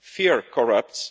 Fear corrupts